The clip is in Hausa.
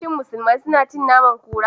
Shin musulmai suna cin naman kura?